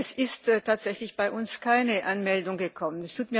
Es ist tatsächlich bei uns keine Anmeldung angekommen.